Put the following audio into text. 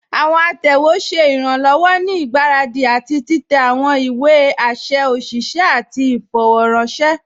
Àwọn àtẹwé ṣẹ̀ iranlọ́wọ̀ ní igbáradi àti titẹ̀ àwọn ìwé àṣẹ̀ òṣìṣẹ̀ àti ìfọ̀rọ̀ranṣẹ̀.